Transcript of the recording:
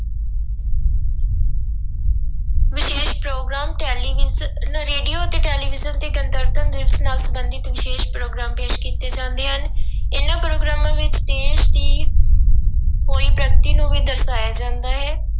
ਵਿਸ਼ੇਸ਼ programme television, radio ਅਤੇ television ਤੇ ਗਣਤੰਤਰ ਦਿਵਸ ਨਾਲ ਸੰਬੰਧਿਤ ਵਿਸ਼ੇਸ਼ ਪ੍ਰੋਗਰਾਮ ਪੇਸ ਕੀਤੇ ਜਾਂਦੇ ਹਨ ਇਹਨਾਂ ਪ੍ਰੋਗਰਾਮਾਂ ਵਿੱਚ ਦੇਸ ਦੀ ਹੋਈ ਪ੍ਰਗਤੀ ਨੂੂੰ ਵੀ ਦਰਸਾਇਆ ਜਾਂਦਾ ਹੈ।